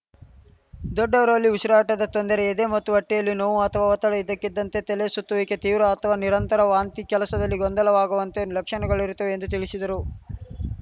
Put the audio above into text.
ದೊಡ್ಡವರಲ್ಲಿ ಉಸಿರಾಟದ ತೊಂದರೆ ಎದೆ ಮತ್ತು ಹೊಟ್ಟೆಯಲ್ಲಿ ನೋವು ಅಥವಾ ಒತ್ತಡ ಇದ್ದಕ್ಕಿದ್ದಂತೆ ತಲೆ ಸುತ್ತುವಿಕೆ ತೀವ್ರ ಅಥವಾ ನಿರಂತರ ವಾಂತಿ ಕೆಲಸದಲ್ಲಿ ಗೊಂದಲವಾಗುವಂತೆ ಲಕ್ಷಣಗಳಿರುತ್ತವೆ ಎಂದು ತಿಳಿಸಿದರು